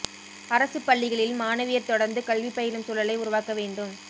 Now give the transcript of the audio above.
அரசுப் பள்ளிகளில் மாணவியா் தொடா்ந்து கல்வி பயிலும் சூழலை உருவாக்க வேண்டும்